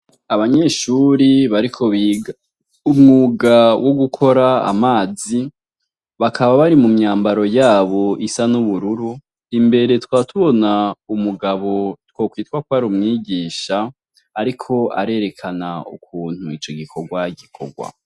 Abanyeshuri bariko umwuga wo gukora amazi bakaba bari mu myambaro yabo isa n'ubururu imbere twatubona umugabo twokwitwa kw ari umwigisha, ariko arerekana ukuntu ico gikorwa gikorwa.